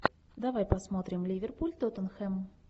давай посмотрим ливерпуль тоттенхэм